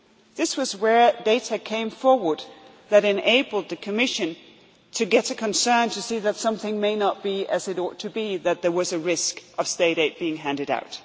This was where data came out that enabled the Commission to get concerned that something may not be as it ought to be, that there was a risk of State aid being handed